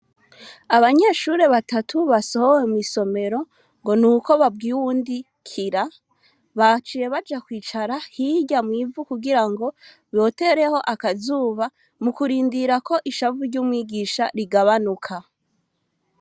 Abanyeshure batatu basohowe mw'isomero ngo nuko babwiye uwundi "kira", baciye baja kwicara hirya mw'ivu kugirango botereho akazuba, mu kurindira ko ishavu ry'umwigisha rigabanuka.